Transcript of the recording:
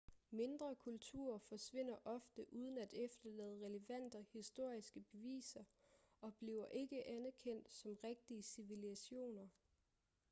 mindre kulturer forsvinder ofte uden at efterlade relevante historiske beviser og bliver ikke anerkendt som rigtige civilisationer